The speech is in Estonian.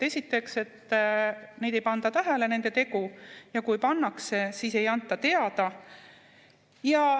Esiteks, et nende tegu ei panda tähele ja kui pannakse, siis ei anta teada.